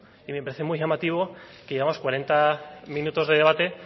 y me parece muy llamativo que llevamos cuarenta minutos de debate